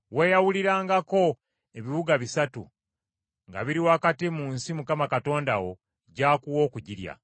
weeyawulirangako ebibuga bisatu nga biri wakati mu nsi Mukama Katonda wo gy’akuwa okugirya.